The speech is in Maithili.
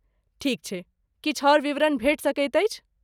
ठीक छै, किछु आओर विवरण भेट सकैत अछि?